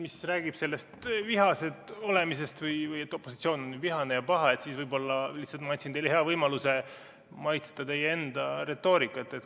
Mis puudutab seda vihane olemist või seda, et opositsioon on vihane ja paha, siis võib-olla ma lihtsalt andsin teile hea võimaluse maitsta teie enda retoorikat.